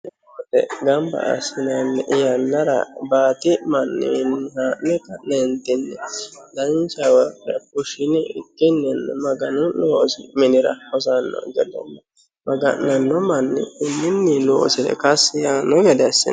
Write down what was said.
konne woxe gamba assinanni yannara baati manniwiinni haa'ne ka'neentinni danchawa bushawa fushshinikkinni maganu loosi minira hosanno gede nna maga'nanno manni konninni loosire kassi yaanno gede assi hasiissanno.